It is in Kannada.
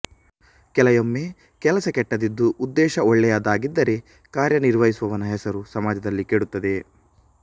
ಕೆಲಯೊಮ್ಮೆ ಕೆಲಸ ಕೆಟ್ಟದಿದ್ದು ಉದ್ದೇಶ ಒಳ್ಳೆಯದಾಗಿದ್ದರೆ ಕಾರ್ಯ ನಿರ್ವಹಿಸುವವನ ಹೆಸರು ಸಮಾಜದಲ್ಲಿ ಕೆಡುತ್ತದೆ